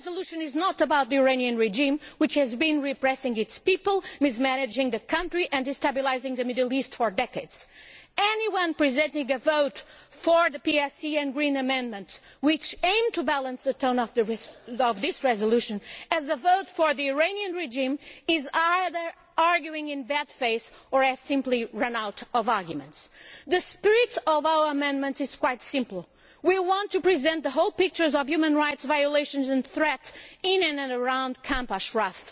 This resolution is not about the Iranian regime, which has been repressing its people, mismanaging the country and destabilising the Middle East for decades. Anyone who presents a vote for the PSE and Green amendments, which aim to balance the tone of this resolution, as a vote for the Iranian regime, is either arguing in bad faith or has simply run out of arguments. The spirit of our amendments is quite simple. We want to present the whole picture of human rights violations and threats in and around Camp Ashraf.